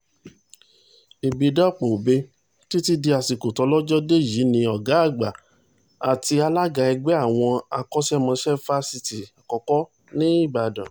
ìbádàpọ̀-ọbẹ̀ títí di àsìkò tólòjọ dé yìí ni ọ̀gá àgbà àti alága ẹgbẹ́ àwọn akóṣẹ́mọṣẹ́ fásitì àkọ́kọ́ ní ìbàdàn